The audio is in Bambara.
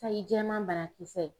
Sayi jɛman banakisɛ